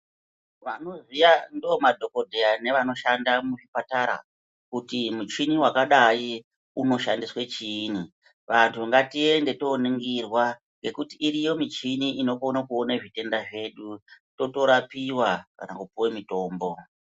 Vanoziya ndoomadhokodheya nevanoshanda muzvipatara kuti muchini wakadayi unoshandiswe chiini. Vanhu ngatiende tooningirwa ngekuti iriyo michini inokone kuona zvitenda zvedu totorapiwa kana kupuwe mitombo.